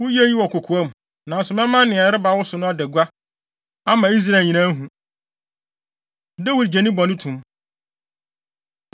Woyɛɛ eyi wɔ kokoa mu, nanso mɛma nea ɛreba wo so no ada gua, ama Israel nyinaa ahu.” Dawid Gye Ne Bɔne To Mu